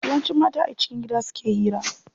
Yawanci mata a cikin gida suke hira.